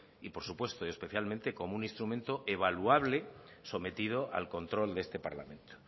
y por supuesto y especialmente como un instrumento evaluable sometido al control de este parlamento